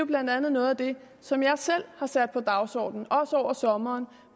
blandt andet noget af det som jeg selv har sat på dagsordenen over sommeren